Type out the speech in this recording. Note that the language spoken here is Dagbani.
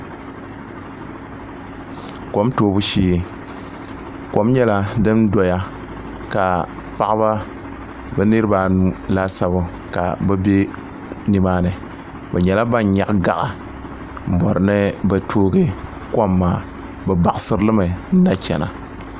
kom tuubu shɛɛ kom nyɛla din doya ka paɣ' ba ka be bɛ nimaani bɛ nyɛla ban nyɛgi gaɣi' n bɔri ni bɛ tuugi kom maa bɛ chɛɣisiri mi